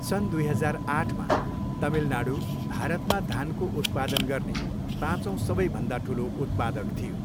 सन् दुई हजार आठमा, तमिलनाडू भारतमा धानको उत्पादन गर्ने पाँचौँ सबैभन्दा ठुलो उत्पादक थियो।